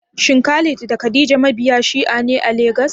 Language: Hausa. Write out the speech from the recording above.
Shin Khalid da Khadija mabiya Shi'a ne a Legas?